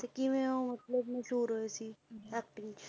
ਤੇ ਕਿਵੇਂ ਉਹ ਮਤਲਬ ਮਸ਼ਹੂਰ ਹੋਏ ਸੀ acting 'ਚ